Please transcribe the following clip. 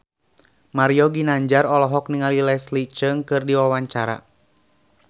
Mario Ginanjar olohok ningali Leslie Cheung keur diwawancara